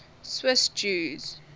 swiss jews